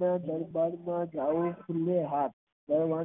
માયા માં પડવું નહિ પડવું